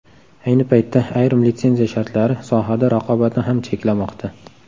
Ayni paytda ayrim litsenziya shartlari sohada raqobatni ham cheklamoqda.